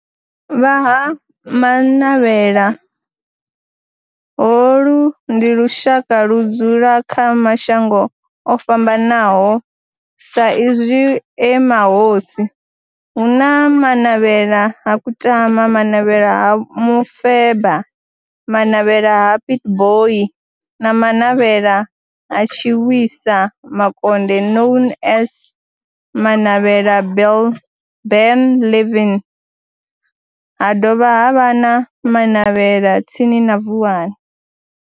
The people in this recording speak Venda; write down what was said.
Vha Ha-Manavhela, holu ndi lushaka ludzula kha mashango ofhambanaho sa izwi e mahosi, hu na Manavhela ha Kutama, Manavhela ha Mufeba, Manavhela ha Pietboi na Manavhela ha Tshiwisa Makonde known as Manavhela Benlavin, ha dovha havha na Manavhela tsini na Vuwani.